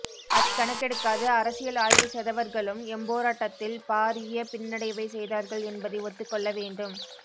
அதைக்கணக்கெடுக்காது அரசியல் ஆய்வு செதவர்களும் எம்போராட்டத்தில் பாரிய பின்னடைவைச் செய்தார்கள் என்பதை ஒத்துக் கொள்ள வேண்டும்